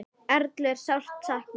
Erlu er sárt saknað.